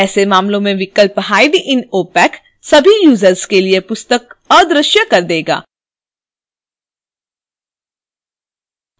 ऐसे मामलों में विकल्प hide in opac सभी यूजर्स के लिए पुस्तक अदृश्य कर देगा